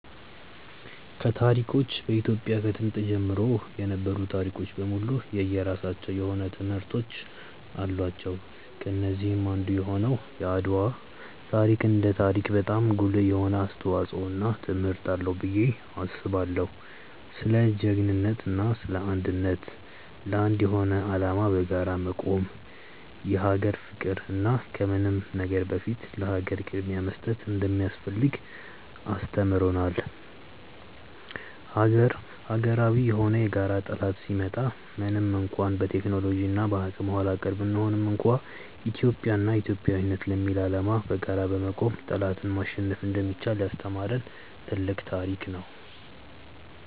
ከታሪኮች በኢትዮጵያ ከጥንት ጀምሮ የነበሩ ታሪኮች በሙሉ የየራሳቸው የሆነ ትምህርቶች አላቸው። ከነዚህም አንዱ የሆነው የአድዋ ታሪክ እንደ ታሪክ በጣም ጉልህ የሆነ አስተዋጽዖ እና ትምህርት አለው ብዬ አስባለው። ስለ ጅግንነት እና ስለ አንድነት፣ ለአንድ የሆነ አላማ በጋራ መቆም፣ የሀገር ፍቅር እና ከምንም ነገር በፊት ለሀገር ቅድምያ መስጠት እንደሚያስፈልግ አስተምሮናል። ሀገራዊ የሆነ የጋራ ጠላት ሲመጣ ምንም እንኳን በቴክኖሎጂ እና በአቅም ኃላቀር ብንሆንም እንኳን ኢትዮጵያ እና ኢትዮጵያዊነት ለሚል አላማ በጋራ በመቆም ጠላትን ማሸነፍ እንደሚቻል ያስተማሪን ትልቅ ታሪክ ነው።